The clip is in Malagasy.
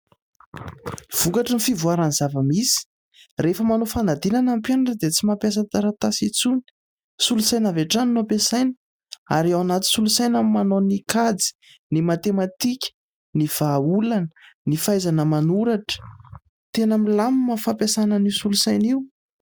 Vokatry ny fivoaran'ny zava-misy, rehefa manao fanadinana ny mpianatra dia tsy mampiasa taratasy intsony. Solosaina avy hatrany no ampiasaina, ary ao anaty solosaina no manao ny kajy, ny matematika, ny vahaolana, ny fahaizana manoratra. Tena milamina ny fampiasana an'io solosaina io.